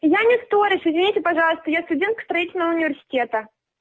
я никторис соедените пожалуйста я студент строительного университета